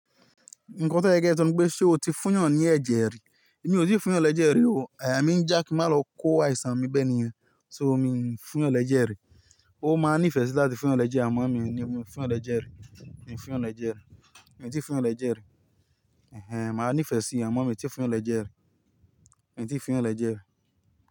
Nǹkan tó ye kí e só ni wípé ṣé o ti fún èèyàn ní ẹ̀jẹ̀ rí? Èmi ò tíì fún yàn ní ẹ̀jẹ̀ rí o. Àyà mi ńjà kí má lọ kó àìsàn ní bẹ́ níyẹn, so mí ń fún yàn lẹ̀jẹ̀ rí. Ó máa nífẹ̀ẹ́ sí láti fún yàn lẹ́jẹ̀ àmọ́ mi ò ní mú fún yàn lẹ̀jẹ̀ rí. Mi ò fún yàn lẹ̀jẹ̀ rí. Mi ò tíì fún yàn lẹ̀jẹ̀ rí. Ẹ̀hẹn, màá nífẹ̀ẹ́ síi àmọ́ èmi tíì fún yàn lẹ̀jẹ̀ rí. Mi tíì fún yàn lẹ̀jẹ̀ rí.